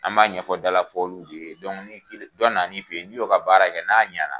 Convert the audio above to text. An b'a ɲɛfɔ dala fɔli de ye dɔnku ni dɔ na na i fɛ yen, n' i y'o ka baara kɛ n'a ɲana.